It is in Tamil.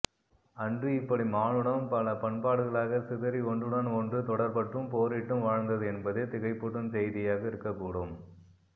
அன்று இப்படி மானுடம் பல பண்பாடுகளாகச் சிதறி ஒன்றுடன் ஒன்று தொடர்பற்றும் போரிட்டும் வாழ்ந்தது என்பதே திகைப்பூட்டும் செய்தியாக இருக்கக்கூடும்